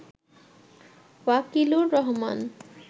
Wakilur Rahman